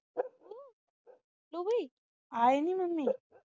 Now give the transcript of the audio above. ਆਏ ਨਹੀਂ mummy